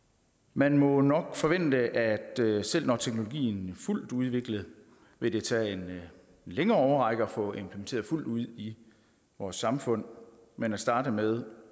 man må nok forvente at det selv når teknologien er fuldt udviklet vil tage en længere årrække at få det implementeret fuldt ud i vores samfund men at starte med